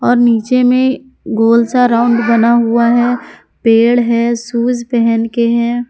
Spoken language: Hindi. और नीचे मे गोल सा राउंड बना हुआ है पेड़ है शूज़ पहन के हैं।